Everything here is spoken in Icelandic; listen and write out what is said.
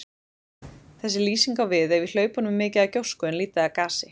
Þessi lýsing á við ef í hlaupunum er mikið af gjósku en lítið af gasi.